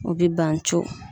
O bi ban co.